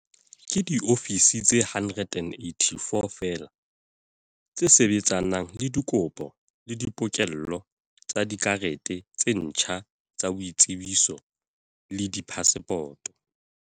Ke diofisi tse 184 feela tse sebetsanang le dikopo le di pokello tsa dikarete tse ntjha tsa boitsebiso le diphasepoto.